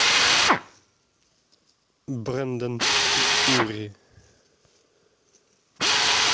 брендон ури